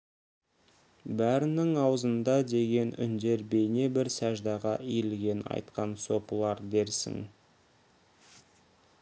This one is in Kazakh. бәрінің аузында деген үндер бейне бір сәждаға иілген айтқан сопылар дерсің